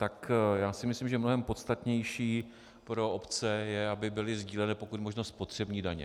Tak já si myslím, že mnohem podstatnější pro obce je, aby byly sdíleny pokud možno spotřební daně.